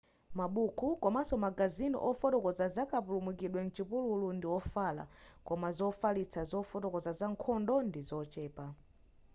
mabuku komanso magazini ofotokoza zakapulumukidwe m'chipululu ndi ofala koma zofalitsa zofotokoza za nkhondo ndizochepa